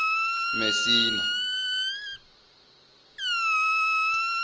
mesina